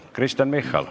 Kristen Michal.